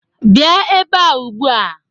Bịa ebea ugbua!